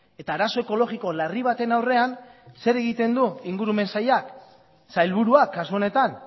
eta arazo ekologiko larri baten aurrean zer egiten du ingurumen sailak sailburuak kasu honetan